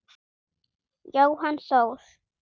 Jóhann Þór.